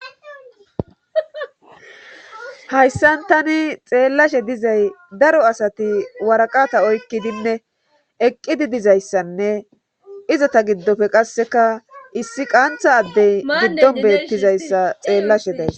hayssan tani xeellashe dizay daro asati waraqata oykkidinne eqqidi dizayssanne izota giddofe qasseka issi qaantha addey giddon beettizayssa xeellashe days